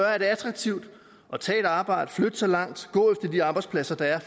er det attraktivt at tage et arbejde flytte så langt gå efter de arbejdspladser der er